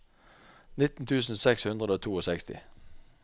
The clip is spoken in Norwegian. nitten tusen seks hundre og sekstito